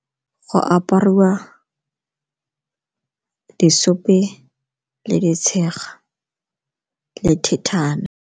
Go apariwa le ditshega le .